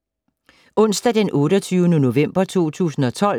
Onsdag d. 28. november 2012